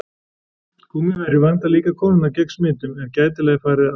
Gúmmíverjur vernda líka konurnar gegn smitun ef gætilega er farið að.